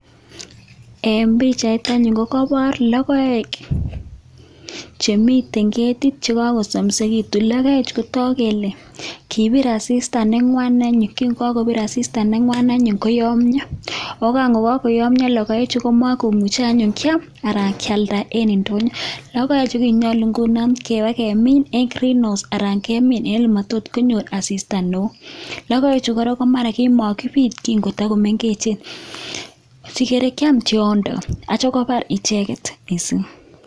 En pichait anyun kokoboor logoek chemiten keetit, chekokosomisekitun .Logoek kotoogu kele kibir asistaa nengwan anyun kin kakobiir asistaa nengwan anyun koyoomyoo. Ak kan kakoyoomyoo logoechu komomu he anyun kiam anan kialdaa en indonyoo. Logoechu anyun kokiyoochi ibakemin en Green house alan kemim en olemotokonyoor asistaa newoo. Logoechu kora komarakimakibiit kin kotokomengechen, sikere kokiam tiondoo ak yeityoo kabar icheket missing.